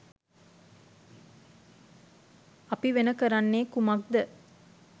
අපි වෙන කරන්නේ කුමක්ද?